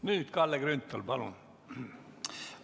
Nüüd, Kalle Grünthal, palun!